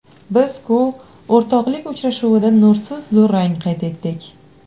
Biz-ku o‘rtoqlik uchrashuvida nursiz durang qayd etdik.